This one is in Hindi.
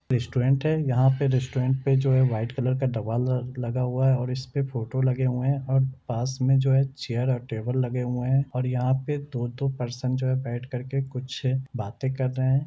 रेस्टोृरंट है यहाँ पे रेस्टोृरंट पे जो है वाइट कलर का दवाल लगा हुआ है और इसपे फोटो लगे हुए है और पास मैं जो है चेयर और टेबल लगे हुए है और यहाँ पे दो -दो पर्सन जो है बेठ कर के कुछ बाते कर रहे है।